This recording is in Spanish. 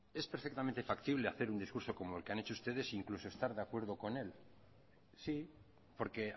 es perfectamente factible hacer un discurso como el que han hecho ustedes incluso estar de acuerdo con él sí porque